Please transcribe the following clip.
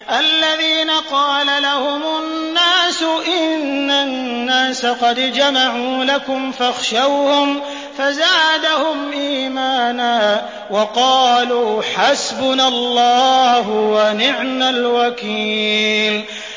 الَّذِينَ قَالَ لَهُمُ النَّاسُ إِنَّ النَّاسَ قَدْ جَمَعُوا لَكُمْ فَاخْشَوْهُمْ فَزَادَهُمْ إِيمَانًا وَقَالُوا حَسْبُنَا اللَّهُ وَنِعْمَ الْوَكِيلُ